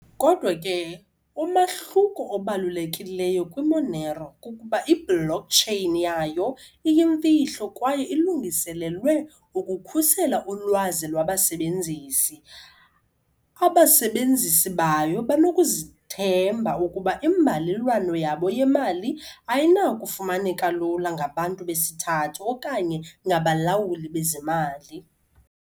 Kodwa ke, umahluko obalulekileyo kwi-Monero kukuba i-blockchain yayo iyimfihlo kwaye ilungiselelwe ukukhusela ulwazi lwabasebenzisi. Abasebenzisi bayo banokuzithemba ukuba imbalelwano yabo yemali ayinakufumaneka lula ngabantu besithathu okanye ngabalawuli bezemali.